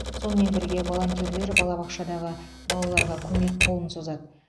сонымен бірге волонтерлер балабақшадағы балаларға көмек қолын созады